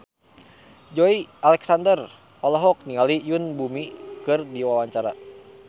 Joey Alexander olohok ningali Yoon Bomi keur diwawancara